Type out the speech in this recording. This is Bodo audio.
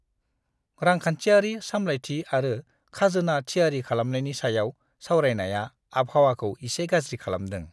रांखान्थियारि सामलायथि आरो खाजोना थियारि खालामनायनि सायाव सावरायनाया आबहावाखौ एसे गाज्रि खालामदों।